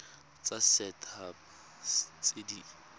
tsa set haba tse di